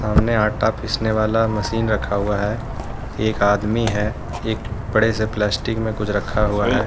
सामने आटा पीसने वाला मशीन रखा हुआ है एक आदमी है एक बड़े से प्लास्टिक में कुछ रखा हुआ है।